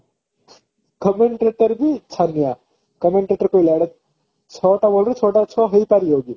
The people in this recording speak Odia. commentator ବି ଛାନିଆ commentator କହିଲା ଏଟା ଛଅ ଟା ball ରେ ଛଅ ଟା ଛଅ ହେଇପାରିବ କି